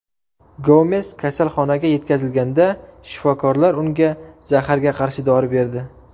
Gomes kasalxonaga yetkazilganda, shifokorlar unga zaharga qarshi dori berdi.